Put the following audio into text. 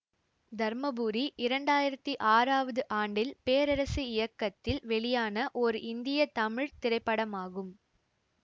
தர்மபுரி இரண்டாயிரத்தி ஆறாவது ஆண்டில் பேரரசு இயக்கத்தில் வெளியான ஒரு இந்திய தமிழ் திரைப்படமாகும்